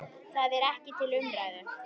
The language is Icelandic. Það er ekki til umræðu.